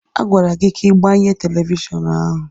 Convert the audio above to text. A gwara gị ka ị gbanye telivishọn ahụ!